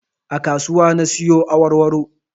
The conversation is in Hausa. A kasuwa na siyo awarwaro